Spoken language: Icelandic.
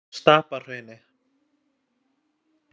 Stapahrauni